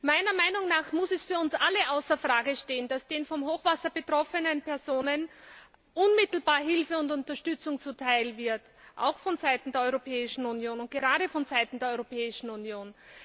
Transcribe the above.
Meiner Meinung nach muss es für uns alle außer Frage stehen, dass den vom Hochwasser betroffenen Personen unmittelbar Hilfe und Unterstützung zuteil wird auch vonseiten der Europäischen Union und gerade vonseiten der Europäischen Union.